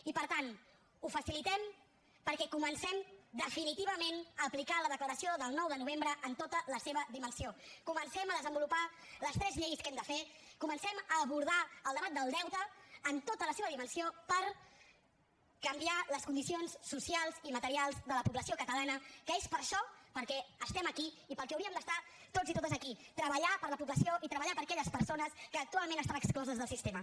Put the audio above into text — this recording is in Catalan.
i per tant ho facilitem perquè comencem definitivament a aplicar la declaració del nou de novembre en tota la seva dimensió comencem a desenvolupar les tres lleis que hem de fer comencem a abordar el debat del deute en tota la seva dimensió per canviar les condicions socials i materials de la població catalana que és per això que estem aquí i pel que hauríem d’estar tots i totes aquí treballar per a la població i treballar per a aquelles persones que actualment estan excloses del sistema